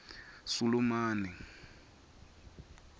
sulumane